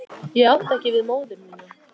Ég átti ekki við móður mína.